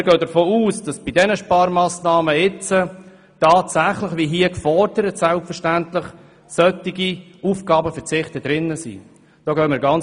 Wir gehen davon aus, dass bei den anstehenden Sparmassnahmen tatsächlich solche Aufgabenverzichte dabei sind.